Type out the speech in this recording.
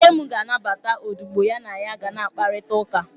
Nne m ga-anabata odibo ha na ya ga na-akparịta ụka.